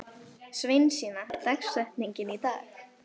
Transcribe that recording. Sveinsína, hver er dagsetningin í dag?